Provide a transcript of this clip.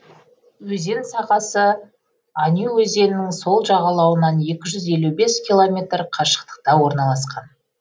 өзен сағасы ануй өзенінің сол жағалауынан екі жүз елу бес километр қашықтықта орналасқан